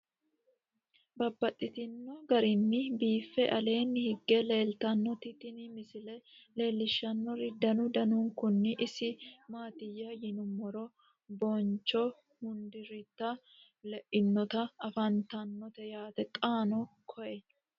Babaxxittinno garinni biiffe aleenni hige leelittannotti tinni misile lelishshanori danu danunkunni isi maattiya yinummoro buncho hunduururitte leinnotti afanttanno yaatte xaanno koye